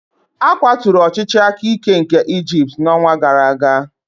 A kwaturu ọchịchị aka ike nke Egypt n'ọnwa gara aga.